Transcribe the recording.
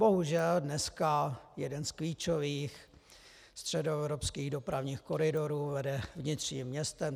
Bohužel dneska jeden z klíčových středoevropských dopravních koridorů vede vnitřním městem.